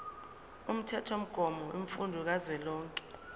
umthethomgomo wemfundo kazwelonke